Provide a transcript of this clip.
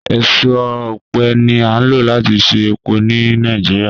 Eso ọpẹ ni a lo lati ṣe epo ni Nigeria